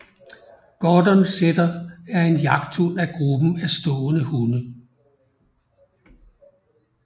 Gordon setter er en jagthund af gruppen af stående hunde